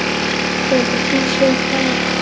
Hefur þú séð það?